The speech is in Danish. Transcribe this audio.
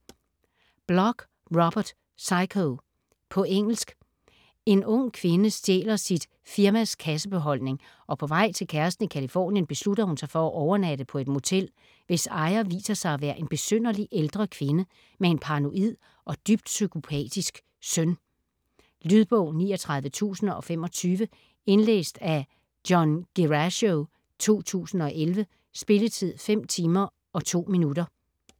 Bloch, Robert: Psycho På engelsk. En ung kvinde stjæler sit firmas kassebeholdning og på vej til kæresten i Californien beslutter hun sig for at overnatte på et motel, hvis ejer viser sig at være en besynderlig ældre kvinde med en paranoid og dybt psykopatisk søn. Lydbog 39025 Indlæst af John Guerrasio, 2011. Spilletid: 5 timer, 2 minutter.